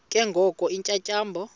ke ngoko iintyatyambo